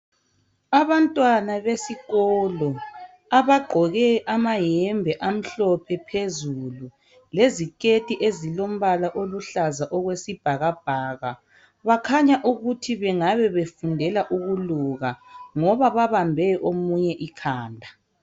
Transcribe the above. Abantwana besikolo abagqoke amayembe amhlophe phezulu leziketi ezilombala oluhlaza okwesibhakabhaka .Bakhanya ukuthi bengabe befundela ukuluka ngoba babambe omunye ikhanda.